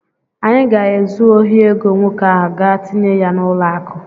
Anyị ga-ezu ohi ego nwoke ahụ gaa tinye ya n'ụlọakụ.